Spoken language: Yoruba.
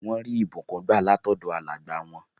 Wọ́n rí ìbùkún gbà látọ̀dọ̀ àwọn alàgbà wọn.